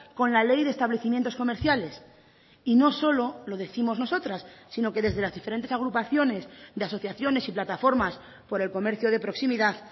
con la ley de establecimientos comerciales y no solo lo décimos nosotras sino que desde las diferentes agrupaciones de asociaciones y plataformas por el comercio de proximidad